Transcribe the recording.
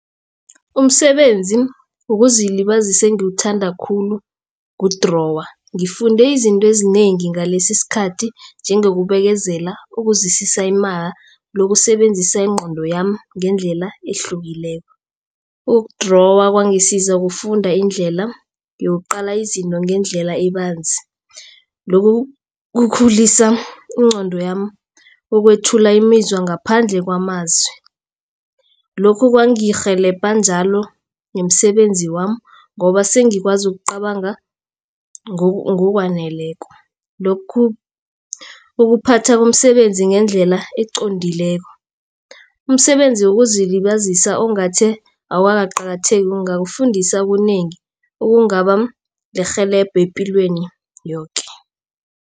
Umsebenzi wokuzilibazisa engiwuthanda khulu kudrowa. Ngifunde izinto ezinengi ngalesi isikhathi njengokubekezela, ukuzwisisa imali nokusebenzisa ingqondo yami ngendlela ehlukileko. Ukudrowa kwangisiza ukufunda indlela uyokuqala izinto ngendlela ebanzi. Lokhu kukhulisa ingqondo yami ukwethula imizwa ngaphandle kwamazwi. Lokhu kwangirhelebha njalo nomsebenzi wami ngoba sengikwazi ukucabanga ngokwaneleko. Lokhu ukuphatha komsebenzi ngendlela eqondileko. Umsebenzi wokuzilibazisa ongathi awukaqakatheki ungakufundisa onengi okungaba lirhelebho epilweni yoke.